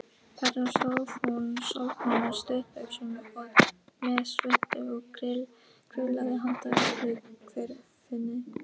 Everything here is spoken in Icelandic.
Þarna stóð hún sólbrún á stuttbuxum og með svuntu og grillaði handa öllu hverfinu.